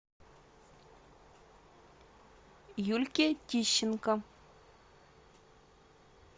юльке тищенко